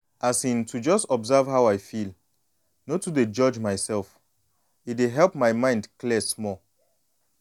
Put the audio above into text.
as in to just observe how i feel no to dey judge myself e dey help my mind clear small.